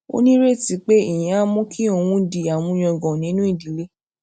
ó nírètí pé ìyẹn á mú kí òun di àmúyangàn nínú ìdílé